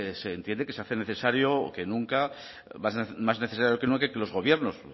pues se entiende que se hace más necesario que nunca que los gobiernos